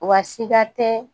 Wa sika tɛ